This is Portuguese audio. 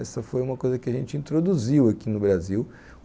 Essa foi uma coisa que a gente introduziu aqui no Brasil.